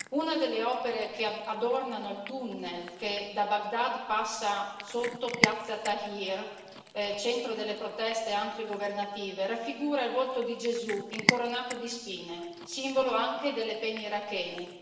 Una delle opere che adornano il tunnel che da Baghdad passa sotto piazza Tahrir, centro delle proteste antigovernative, raffigura il volto di Gesù incoronato di spine, simbolo anche delle pene irachene.